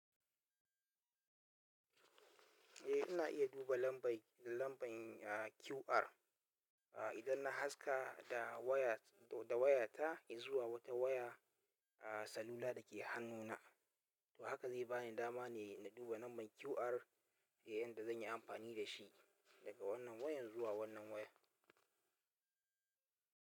Eh ina iya duba lambar QR idan na haska da waya ta zuwa wata waya salula da ke hannuna. To haka zai bani dama ne na duba lambar QR, da yanda zan yi amfani da shi daga wannan wayan zuwa wannan wayan.